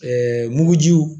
mugujiw